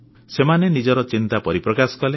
ସେମାନେ ନିଜର ଚିନ୍ତା ପରିପ୍ରକାଶ କଲେ